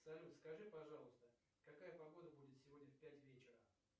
салют скажи пожалуйста какая погода будет сегодня в пять вечера